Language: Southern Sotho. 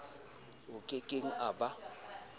a ke keng a ba